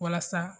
Walasa